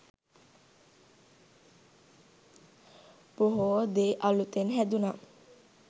බොහෝ දේ අලුතෙන් හැදුනා